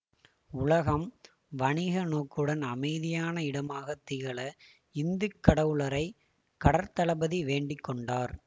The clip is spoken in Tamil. உலகம் வணிக நோக்குடன் அமைதியான இடமாகத் திகழ இந்து கடவுளரை கடற்த்தளபதி வேண்டி கொண்டார்